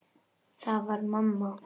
Það var mamma.